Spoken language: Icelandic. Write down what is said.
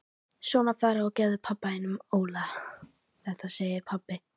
Svona farðu og gefðu honum Óla þetta segir pabbi.